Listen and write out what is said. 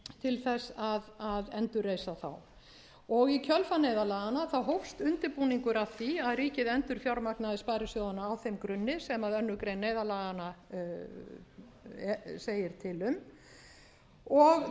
til þess að endurreisa þá í kjölfar neyðarlaganna hófst undirbúningur að því að ríkið endurfjármagnaði sparisjóðina á þeim grunni sem önnur grein neyðarlaganna segir til um og